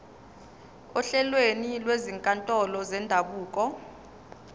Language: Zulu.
ohlelweni lwezinkantolo zendabuko